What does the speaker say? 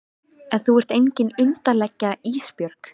En þú ert engin undirlægja Ísbjörg.